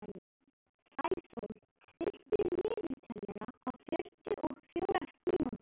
Sæsól, stilltu niðurteljara á fjörutíu og fjórar mínútur.